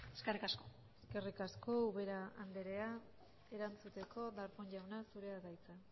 eskerrik asko eskerrik asko ubera andrea erantzuteko darpón jauna zurea da hitza